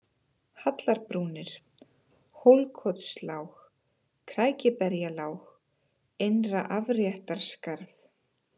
Hallarbrúnir, Hólkotslág, Krækiberjalág, Innra-Afréttarskarð